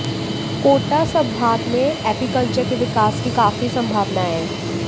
कोटा सम्भाग में एपीकल्चर के विकास की काफी सम्भावनाए है